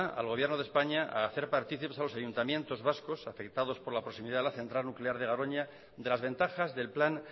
al gobierno de españa a hacer partícipes a los ayuntamientos vascos afectados por la proximidad a la central nuclear de garoña de las ventajas del plan